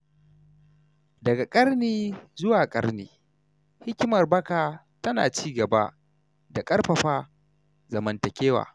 Daga ƙarni zuwa ƙarni, hikimar baka tana ci gaba da ƙarfafa zamantakewa.